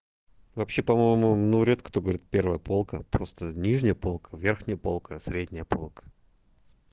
вообще по-моему ну редко кто говорит первая полка просто нижняя полка верхняя полка средняя полка